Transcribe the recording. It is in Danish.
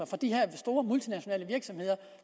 fra de her store multinationale virksomheder